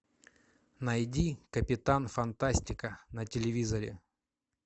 найди капитан фантастика на телевизоре